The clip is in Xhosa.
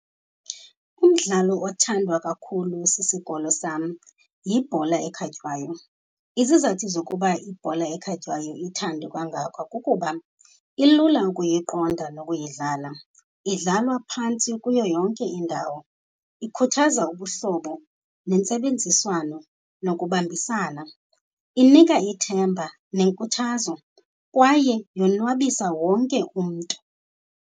Umdlalo othandwa kakhulu sisikolo sam yibhola ekhatywayo. Izizathu zokuba ibhola ekhatywayo ithandwe kangaka kukuba ilula ukuyiqonda nokuyidlala, idlalwa phantsi kuyo yonke indawo. Ikhuthaza ubuhlobo nentsebenziswano nokubambisana. Inika ithemba nenkuthazo kwaye yonwabisa wonke umntu.